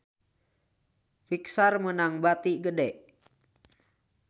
Pixar meunang bati gede